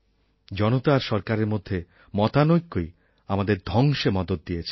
জনতা আর সরকারের মধ্যে মতানৈক্যই আমাদের ধ্বংসে মদত দিয়েছে